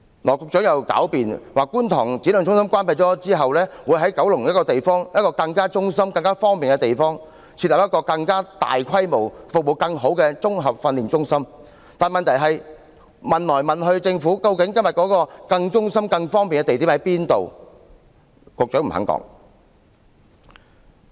羅局長又狡辯，指觀塘展亮中心關閉後，會在九龍一個更位於中心、更加方便的地點，設立一個更大規模、服務更好的綜合訓練中心，但問題是，我們詢問過政府多次，這個更位於中心、更加方便的地點在哪裏呢？